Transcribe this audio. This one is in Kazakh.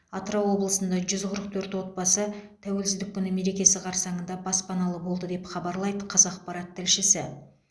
атырау облысында жүз қырық төрт отбасы тәуелсіздік күні мерекесі қарсаңында баспаналы болды деп хабарлайды қазақпарат тілшісі